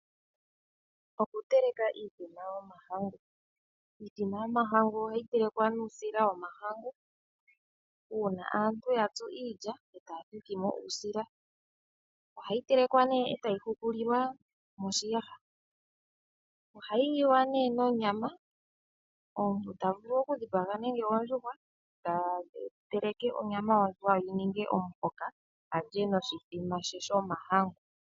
Okuteleka iithima yomahangu, iithima yomahangu ohayi telekwa nuusila womahangu Uuna aantu yatsu iilya eta thithimo uusila, ohayi telekwa nee eta yi hukulilwa moshiyaha oha yili wa nee noonyama omuntu tavulu okudhipanga nenge ondjuhwa tatele onyama yondjuhwa yini nge omuhoka alye noshithima she shomahangu.